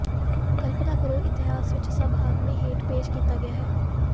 ਕਲਪਨਾ ਕਰੋ ਇਤਿਹਾਸ ਵਿਚ ਸਭ ਆਦਮੀ ਹੇਠ ਪੇਸ਼ ਕੀਤਾ ਗਿਆ ਹੈ